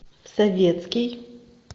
советский